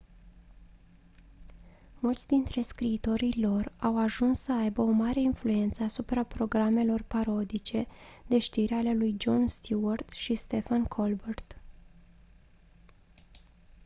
mulți dintre scriitorii lor au ajuns să aibă o mare influență asupra programelor parodice de știri ale lui jon stewart și stephen colbert